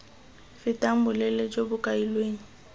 fetang boleele jo bo kailweng